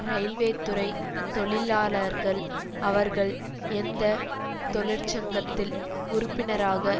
இரயில்வேத்துறை தொழிலாளர்கள் அவர்கள் எந்த தொழிற்சங்கத்தில் உறுப்பினராக